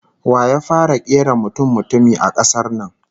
Wa ya fara kera mutummutumi a kasar nan?